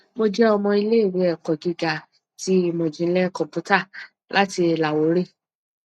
mo jẹ ọmọ ileiwe eko giga ti imọjinlẹ kọmputa lati lahore